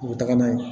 U bɛ taga n'a ye